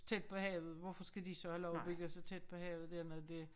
Tæt på havet hvorfor skal de så have lov at bygge så tæt på havet dernede det